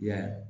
I y'a ye